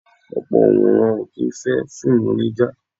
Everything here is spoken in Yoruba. Ọ̀pọ̀ Onworan o kì í fẹ́ fíìmù onija.